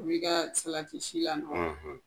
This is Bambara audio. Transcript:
O bi ka salatisi la nɔgɔ